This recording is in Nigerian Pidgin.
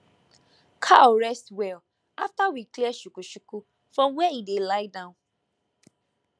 cow rest well after we clear chukuchuku from where e dey lie down